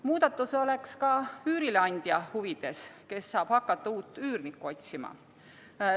Muudatus oleks ka üürileandja huvides, kes saab hakata uut üürnikku otsima.